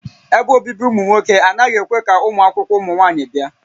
Ebe obibi ụmụ nwoke anaghị ekwe ka ụmụakwụkwọ ụmụ nwaanyị bịa